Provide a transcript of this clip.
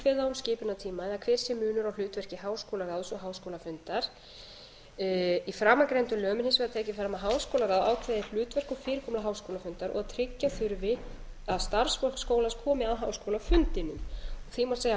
um skipunartíma eða hver sé munur á hlutverki háskólaráðs og háskólafundar í framangreindum lögum er hins vegar tekið fram að háskólaráð ákveði hlutverk og fyrirkomulag háskólafundar og tryggja þurfi að starfsfólk skólans komi að háskólafundinum því má segja að